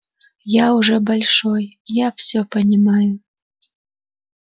я уже большой я всё понимаю